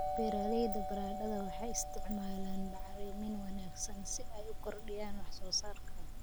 Beeralayda baradhada waxay isticmaalaan bacrimin wanaagsan si ay u kordhiyaan wax soo saarka.